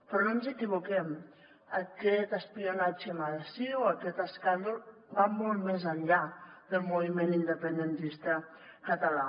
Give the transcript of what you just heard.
però no ens equivoquem aquest espionatge massiu aquest escàndol va molt més enllà del moviment independentista català